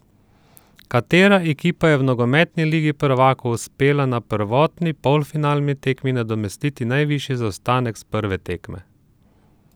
Katera ekipa je v nogometni Ligi prvakov uspela na povratni polfinalni tekmi nadomestiti najvišji zaostanek s prve tekme?